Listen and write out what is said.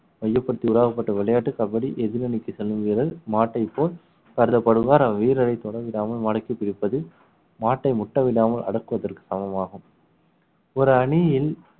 மையப்படுத்தி உருவாக்கப்பட்ட விளையாட்டு கபடி எதிர் அணிக்கு செல்லும் வீரர் மாட்டை போல் கருதப்படுவார் அவ்வீரரை தொடவிடாமல் மடக்கி பிடிப்பது மாட்டை முட்டவிடாமல் அடக்குவதற்கு சமமாகும் ஒரு அணியில்